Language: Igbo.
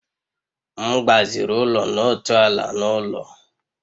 M gbaziri ụlọ n'otu ala na ụlọ